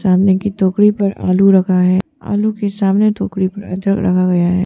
सामने की टोकरी पर आलू रखा है आलू के सामने टोकरी पर अदरक रखा गया है।